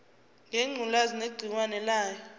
ngengculazi negciwane layo